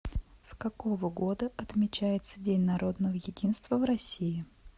с какого года отмечается день народного единства в россии